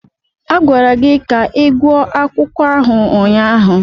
A gwara gị ka ịgwọ akwụkwọ ahụ ụnyaahụ.